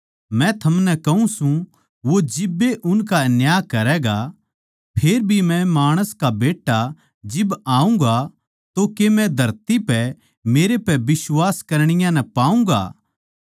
मै थमनै कहूँ सूं वो जिब्बे उनका न्याय करैगा फेर भी मै माणस का बेट्टा जिब आऊँगा तो के मै धरती पै मेरे पै बिश्वास करणीया नै पाऊँगा